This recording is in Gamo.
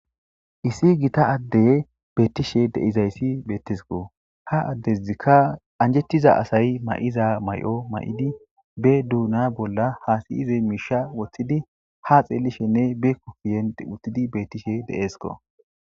Issi gita addey beettishe deizayssi beettesiko ha addezikka anjettiza asay mayiza mayo mayidi be duuna bolla haasiyize miisha woththidi ha xeelishenne beekko kiyent uttidi beettishe de7esiko.